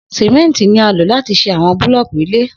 Simenti ni a lo lati ṣe awọn bulọọki ile